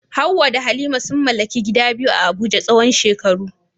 Hawwa da Halima sun mallaki gida biyu a Abuja tsawon shekaru.